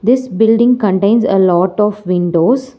this building contains a lot of windows.